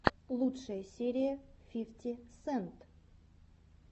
лучшая серия фифти сент